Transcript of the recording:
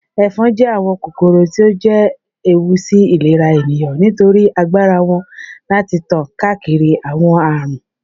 Éfon je àwón kókóró tí o je éwú sí ìlérá éniyán nitórì ágbárá wón lati tan káákiri àwon árun